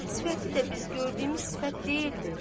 Sifəti də biz gördüyümüz sifət deyildi.